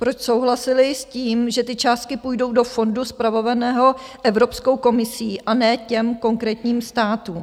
Proč souhlasili s tím, že ty částky půjdou do fondu spravovaného Evropskou komisí, a ne těm konkrétním státům?